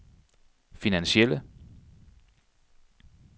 finansielle